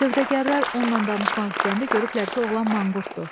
Sövdəgərlər onunla danışmaq istəyəndə görüblər ki, oğlan manqurtdur.